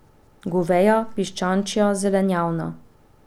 Goveja, piščančja, zelenjavna.